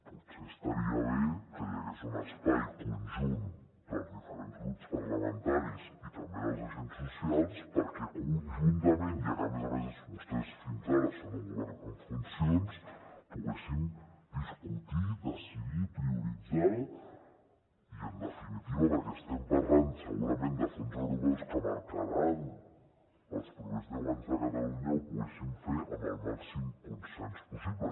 potser estaria bé que hi hagués un espai conjunt dels diferents grups parlamentaris i també dels agents socials perquè conjuntament ja que a més a més vostès fins ara són un govern en funcions poguéssim discutir decidir prioritzar i en definitiva perquè estem parlant segurament de fons europeus que marcaran els propers deu anys a catalunya ho poguéssim fer amb el màxim consens possible